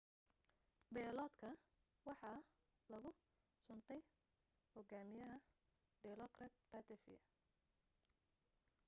bayloodka waxaa lagu suntay hogaamiyaha dilokrit pattavee